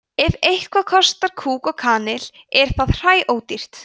ef eitthvað kostar kúk og kanil er það hræódýrt